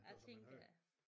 Jeg tænker ja